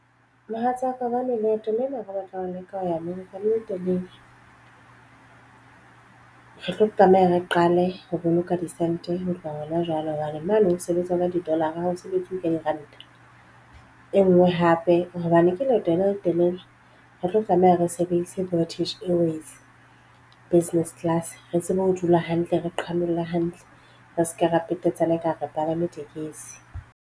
Mohatsaka hobane leeto lena re batla ho leka ho ya America le le telele, re tlo tlameha re qale ho boloka di santa, ho tloha hona jwale. Hobane mo no sebetsa o ka di dollar ra ha o sebetse ka diranta e nngwe hape hobane ke leeto le letelele. Re tlo tlameha re sebedisa prestige airways business class. Re tsebe ho dula hantle re qhanolla hantle re se ke ra petetsana ekare re palame tekesi.